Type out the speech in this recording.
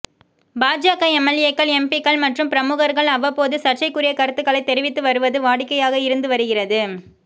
பாஜக எம்எல்ஏக்கள் எம்பிக்கள் மற்றும் பிரமுகர்கள் அவ்வப்போது சர்ச்சைக்குரிய கருத்துக்களை தெரிவித்து வருவது வாடிக்கையாக இருந்து வருகிறது